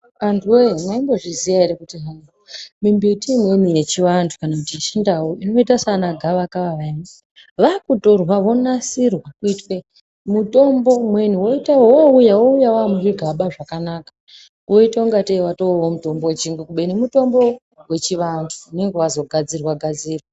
Antuwe mwaimbo zviziya ere kuti hayi mimbiti imweni yechivantu kana kuti yechindau inoita sana gavakava vayani varikutorwa vonasirwa kuitwe mitombo umweni owuya wamuzvigaba zvakanaka woyita kuti wamutombo wechiyungu kube mutombo wechi antu